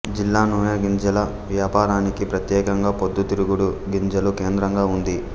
జిల్లా నూనెగింజల వ్యాపారానికి ప్రత్యేకంగా పొద్దుతిరుగుడు గింజలు కేంద్రంగా ఉంది